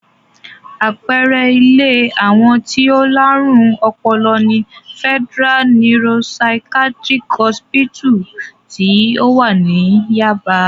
Àpẹẹrẹ ilé àwọn tí ó láárùn ọpọlọ ni Federal Neuro-Psychatric Hospital tí ó wà ní Yáàbá.